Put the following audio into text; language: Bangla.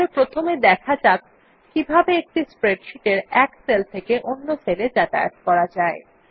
তাহলে প্রথমে দেখা যাক কিভাবে একটি স্প্রেডশীট এর এক সেল থেকে অন্য সেলে যাতায়াত করা যায়